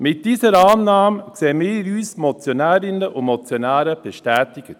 In dieser Annahme sehen wir uns Motionärinnen und Motionäre bestätigt.